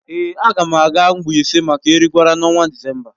Èé, a ga m aga Mbaise maka Erigwara n’ọnwa Disemba